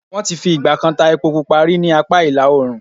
Wọ́n ti fi ì̀gbà kan ta epo pupa rí ní apá ìlà oòrùn.